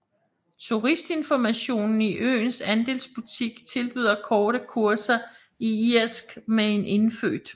Turistinformationen i øens andelsbutik tilbyder korte kurser i irsk med en indfødt